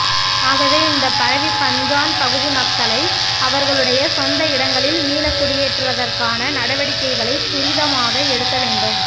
ஆகவே இந்தப் பரவிப்பாஞ்சான் பகுதி மக்களை அவர்களுடைய சொந்த இடங்களில் மீளக்குடியேற்றவதற்கான நடவடிக்கைகளைத் துரிதமாக எடுக்க வேண்டும்